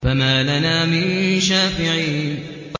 فَمَا لَنَا مِن شَافِعِينَ